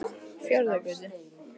Fjarðargötu